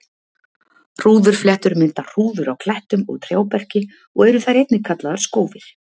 hrúðurfléttur mynda hrúður á klettum og trjáberki og eru þær einnig kallaðar skófir